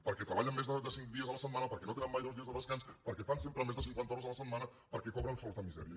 perquè treballen més de cinc dies la setmana perquè no tenen mai dos dies de descans perquè fan sempre més de cinquanta hores la setmana perquè cobren sous de misèria